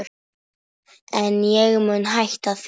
En ég mun hætta því.